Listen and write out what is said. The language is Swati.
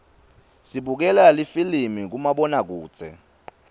sibukela lifilimi kumabonakudze